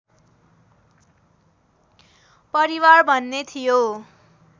परिवार भन्ने थियो